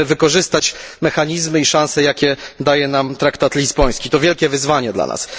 Musimy wykorzystać mechanizmy i szanse, jakie daje nam traktat lizboński. To wielkie wyzwanie dla nas.